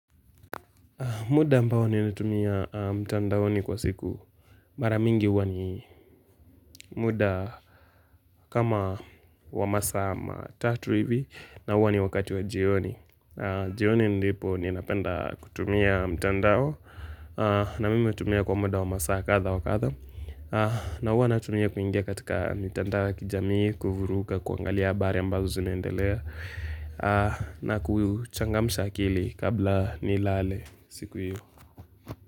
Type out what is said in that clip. Muda ambao ninatumia mtandao ni kwa siku mara mingi huwa ni muda kama wa masaa matatu hivi na huwa ni wakati wa jioni. Jioni ndipo ninapenda kutumia mtandao na mimi hutumia kwa muda wa masaa kadha wa kadha. Na huwa natumia kuingia katika mitandao ya kijamii, kuvuruga, kuangalia habari ambazo zineendelea na kuchangamsha akili kabla nilale siku yu.